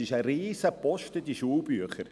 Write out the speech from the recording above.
Es ist ein riesiger Posten, diese Schulbücher.